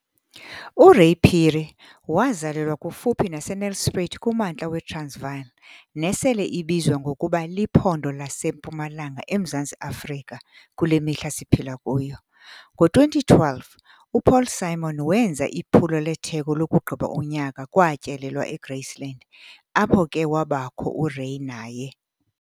URay Phiri wazalelwa kufuphi naseNelspruit kumntla weTransvaal, nesele ibizwa ngokuba Liphondo laseMpumalanga eMzantsi Afrika, kule mihla siphila kuyo. Ngo2012, uPaul Simon wenza iphulo letheko lokugqiba unyaka kwatyelelwa eGraceland, apho ke wabakho uRay naye.